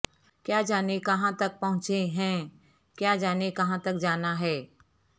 کیا جانے کہاں تک پہونچے ہیں کیا جانے کہاں تک جانا ہے